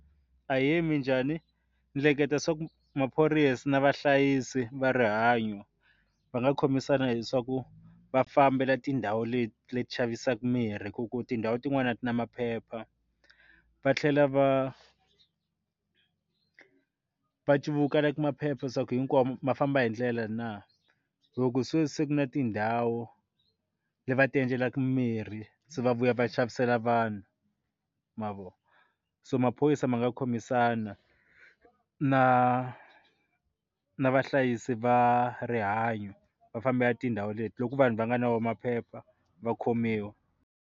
Ahee, minjhani ni hleketa swa ku maphorisa na vahlayisi va rihanyo va nga khomisana hi swaku va fambela tindhawu leti leti xavisaka mirhi hi ku tindhawu tin'wani a tina maphepha va tlhela va va civuka maphepha se ku hinkwawo ma famba hi ndlela na loko se ku na tindhawu leti va ti endlelaka mirhi se va vuya va xavisela vanhu mavona so maphorisa ma nga khomisana na na vahlayisi va rihanyo va fambela tindhawu leti loko vanhu va nga na maphepha va khomiwa.